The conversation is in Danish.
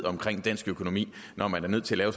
i dansk økonomi når man er nødt til at